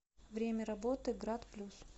время работы грат плюс